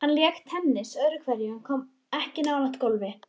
Hann lék tennis öðru hverju en kom ekki nálægt golfi.